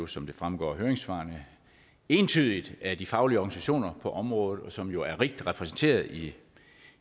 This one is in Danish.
som det fremgår af høringssvarene entydigt af de faglige organisationer på området som jo er rigt repræsenteret i